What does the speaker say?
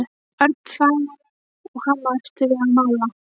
Örn þagði og hamaðist við að mála.